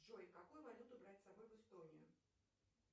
джой какую валюту брать с собой в эстонию